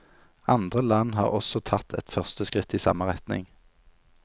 Andre land har også tatt et første skritt i samme retning.